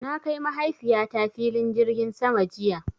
Na kai Mahaifiyata filin jirgin sama jiya.